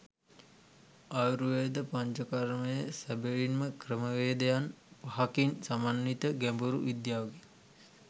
ආයුර්වේද පංචකර්මය සැබවින්ම ක්‍රමවේදයන් පහකින් සමන්විත ගැඹුරු විද්‍යාවකි.